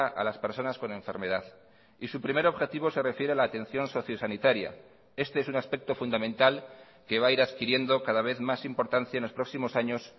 a las personas con enfermedad y su primer objetivo se refiere a la atención socio sanitaria este es un aspecto fundamental que va a ir adquiriendo cada vez más importancia en los próximos años